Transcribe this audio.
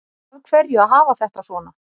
Af hverju að hafa þetta svona